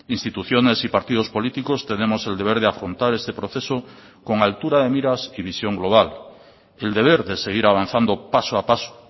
instituciones y partidos políticos tenemos el deber de afrontar este proceso con altura de miras y visión global el deber de seguir avanzando paso a paso